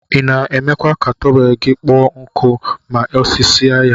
Ina emekwa ka tọwel gi kpọ nku ma isasie ya.